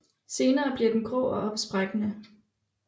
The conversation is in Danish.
Senere bliver den grå og opsprækkende